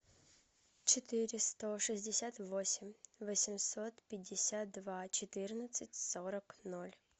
четыре сто шестьдесят восемь восемьсот пятьдесят два четырнадцать сорок ноль